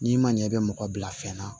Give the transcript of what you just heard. N'i ma ɲɛ i bɛ mɔgɔ bila fɛn na